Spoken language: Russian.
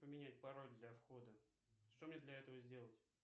поменять пароль для входа что мне для этого сделать